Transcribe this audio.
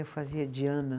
Eu fazia Diana.